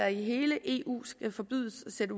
i hele eu skal forbydes at